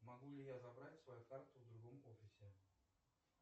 могу ли я забрать свою карту в другом офисе